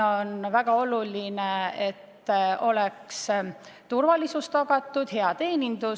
On väga oluline, et oleks turvalisus tagatud, samuti hea teenindus.